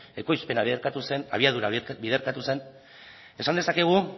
ekoizpena biderkatu zen abiadura biderkatu zen esan dezakegu